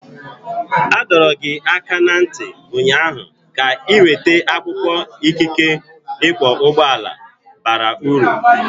A dọrọ gị aka ná ntị ụnyaahụ ka ị weta akwụkwọ ikike ịkwọ ụgbọala bara uru!